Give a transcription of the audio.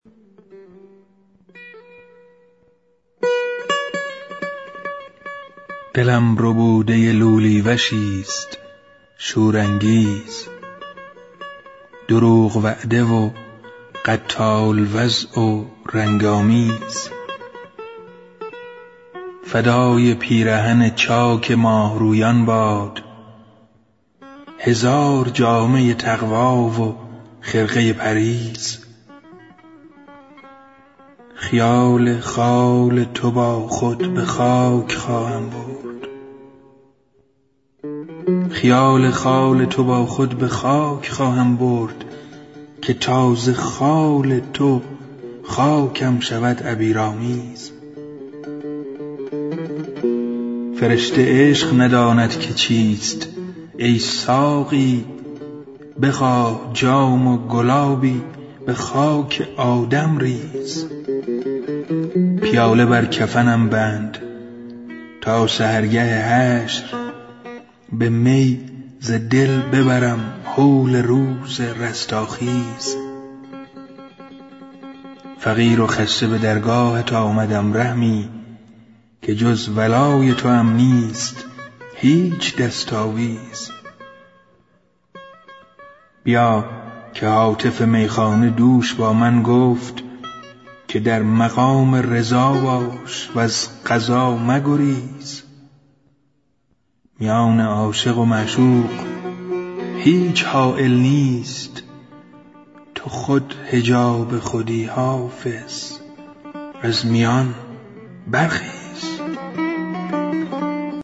دلم رمیده لولی وشیست شورانگیز دروغ وعده و قتال وضع و رنگ آمیز فدای پیرهن چاک ماهرویان باد هزار جامه تقوی و خرقه پرهیز خیال خال تو با خود به خاک خواهم برد که تا ز خال تو خاکم شود عبیرآمیز فرشته عشق نداند که چیست ای ساقی بخواه جام و گلابی به خاک آدم ریز پیاله بر کفنم بند تا سحرگه حشر به می ز دل ببرم هول روز رستاخیز فقیر و خسته به درگاهت آمدم رحمی که جز ولای توام نیست هیچ دست آویز بیا که هاتف میخانه دوش با من گفت که در مقام رضا باش و از قضا مگریز میان عاشق و معشوق هیچ حایل نیست تو خود حجاب خودی حافظ از میان برخیز